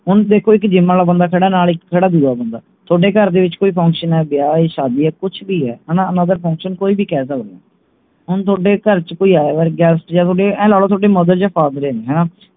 ਹੁਣ ਦੇਖੋ ਕੇ gym ਆਲਾ ਬੰਦਾ ਖੜਾ ਨਾਲ ਇਕ ਇਕ ਖੜਾ ਦੂਜਾ ਬੰਦਾ ਥੋਡੇ ਘਰ ਦੇ ਵਿਚ ਕੋਈ function ਹੈ ਵਿਆਹ ਹੈ ਸ਼ਾਦੀ ਹੈ ਕੁਛ ਵੀ ਹੈ ਹਣਾ ਹੁਣ ਅਗਰ function ਕੋਈ ਵੀ ਕਹਿ ਸਕਦੇ ਹੋ ਹੁਣ ਥੋਡੇ ਘਰ ਚ ਕੋਈ ਆਇਆ guest ਯਾ ਥੋਡੇ ਆਏਂ ਲਾ ਲਓ ਥੋਡੇ mother ਯਾ father ਨੇ ਹਣਾ